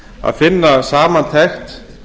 að finna samantekt